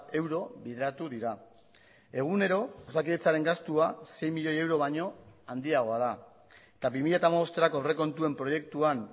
euro bideratu dira egunero osakidetzaren gastua sei milioi euro baino handiagoa da eta bi mila hamabosterako aurrekontuen proiektuan